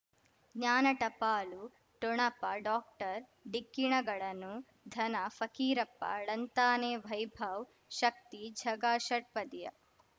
ಜ್ಞಾನ ಟಪಾಲು ಠೊಣಪ ಡಾಕ್ಟರ್ ಢಿಕ್ಕಿ ಣಗಳನು ಧನ ಫಕೀರಪ್ಪ ಳಂತಾನೆ ವೈಭವ್ ಶಕ್ತಿ ಝಗಾ ಷಟ್ಪದಿಯ